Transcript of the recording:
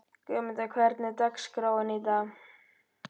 Guðmunda, hvernig er dagskráin í dag?